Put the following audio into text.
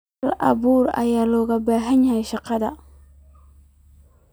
Hal-abuur ayaa looga baahan yahay shaqadaada.